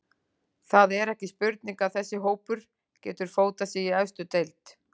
Það er ekki spurning að þessi hópur getur fótað sig í efstu deild.